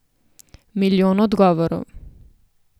Milijon odgovorov.